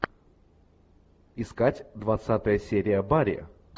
искать двадцатая серия барри